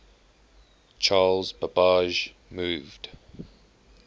charles babbage moved